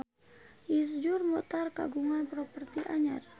Iszur Muchtar kagungan properti anyar